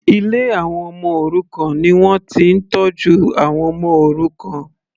Ilé àwọn ọmọ òrukàn ni wọ́n ti ń tọ́jú àwọn ọmọ òrukàn.